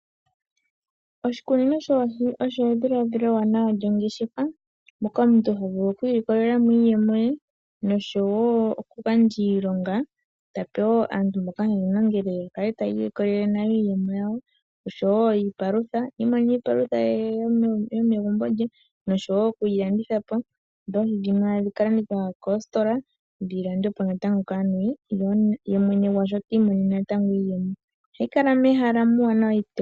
Oshikunino shoohi osho edhiladhilo ewanawa lyongeshefa moka omuntu ho vulu oku ilikolela mo iiyemo ye noshowo okugandja iilonga, ta pe wo aantu mboka haye mu longele ya kale taya ilikolele nayo iiyemo yawo oshowo iipalutha. Ya imonene iipalutha yo megumbo lye noshowo okuyi landithapo, ndele oohi dhono tadhi ka landithwa koositola, dhi landwepo natango kaantu, ye mwene gwalyo ta imonene natango iiyemo. Ohayi kala mehala ewanawa.